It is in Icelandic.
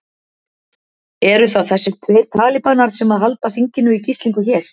Eru það þessir tveir talíbanar sem að halda þinginu í gíslingu hér?